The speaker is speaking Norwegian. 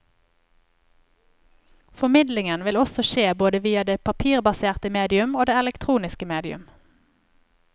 Formidlingen vil også skje både via det papirbaserte medium og det elektroniske medium.